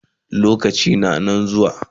Abun dai duk wand Aya Dade zai ga ganao